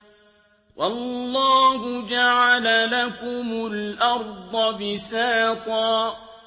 وَاللَّهُ جَعَلَ لَكُمُ الْأَرْضَ بِسَاطًا